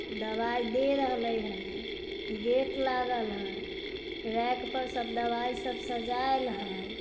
दवाई दे रहलै हने गेट लागल है रैक पर सब दवाई सब सजायल है।